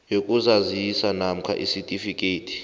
yokuzazisa namkha isitifikhethi